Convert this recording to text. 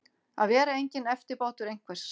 Að vera enginn eftirbátur einhvers